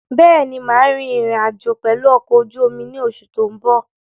Bẹ́ẹ̀ni, máa rìn ìrìn-àjò pẹ̀lu ọkọ̀ ojú omi ni oṣù tó ń bọ̀.